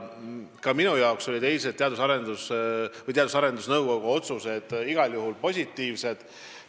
Ka minu jaoks olid eilsed Teadus- ja Arendusnõukogu otsused igal juhul positiivsed.